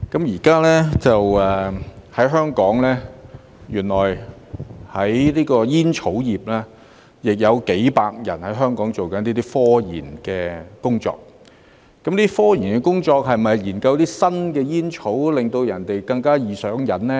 原來現在香港的煙草業，也有數百人正在進行科研工作，科研工作是否研究一些新煙草，令人更加易上癮呢？